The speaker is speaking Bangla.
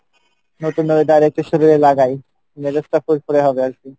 নতুন weather একটু শরীরে লাগাই, মেজাজ টা ফুরফুরে হবে আর কী।